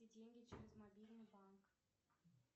деньги через мобильный банк